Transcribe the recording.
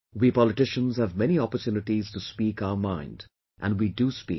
We politicians have many opportunities to speak our mind and we do speak